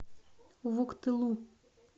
вуктылу